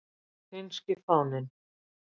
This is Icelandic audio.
Finnski fáninn.